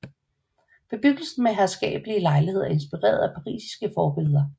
Bebyggelsen med herskabelige lejligheder er inspireret af parisiske forbilleder